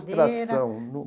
Frustração,